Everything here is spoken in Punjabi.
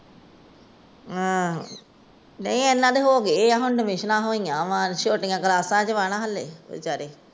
ਨਹੀਂ ਇਹਨਾਂ ਦੇ ਹੋਗਏ ਆ। ਤਾਵਿਸ਼ਨ ਹੋਇਆ ਨੇ, ਛੋਟੀਆਂ ਕਲਾਸਾਂ ਚ ਨਾ ਹੱਲੇ।